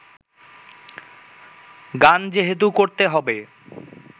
গান যেহেতু করতে হবে